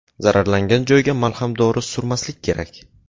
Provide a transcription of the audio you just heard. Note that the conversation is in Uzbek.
Zararlangan joyga malham dori surmaslik kerak.